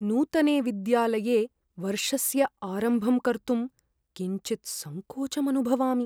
नूतने विद्यालये वर्षस्य आरम्भं कर्तुं किञ्चित् सङ्कोचम् अनुभवामि।